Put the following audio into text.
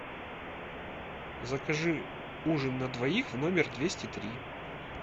закажи ужин на двоих в номер двести три